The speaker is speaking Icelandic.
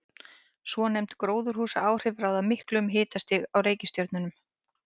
Svonefnd gróðurhúsaáhrif ráða miklu um hitastig á reikistjörnunum.